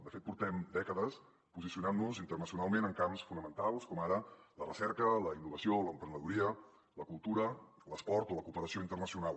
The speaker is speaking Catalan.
de fet portem dècades posicionant nos internacionalment en camps fonamentals com ara la recerca la innovació l’emprenedoria la cultura l’esport o la cooperació internacional